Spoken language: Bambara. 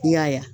I y'a ye